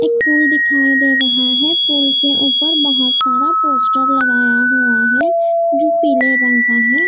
एक पूल दिखाई दे रहा है पूल के ऊपर बहुत सारा पोस्टर लगाया हुआ है जो पीले रंग का है।